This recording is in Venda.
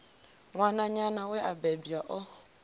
ṅwananyana we a bebwa o